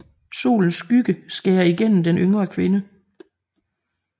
Solens skygge skærer igennem den yngre kvinde